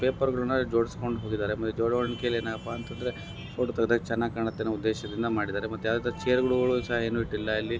ಪೇಪರ್ಗ ಳನ್ನು ಜೋಡಿಸಿಕೊಂಡು ಹೋಗಿದ್ದಾರೆ ಏನಕಪ್ಪ ಅಂತ ಅಂದ್ರೆ ಫೋಟೋ ತೆಗೆದ್ರೆ ಚೆನ್ನಾಗಿರುತ್ತೆ ಅನ್ನೋ ಉದ್ದೇಶಕ್ಕಾಗಿ ಮಾಡಿದ್ದಾರೆ ಮತ್ತೆ ಯಾವುದೇ ರೀತಿ ಚೇರ್ಗ ಳನ್ನು ಸಹ ಇಟ್ಟಿಲ್ಲ ಇಲ್ಲಿ.